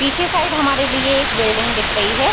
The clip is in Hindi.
पीछे साइड हमारे लिए एक बिल्डिंग दिख रही है।